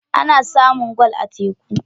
Ana samun gwal a teku.